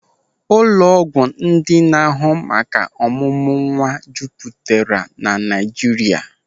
Ụlọ ọgwụ ndị na-ahụ maka ọmụmụ nwa juputara na Naịjirịa.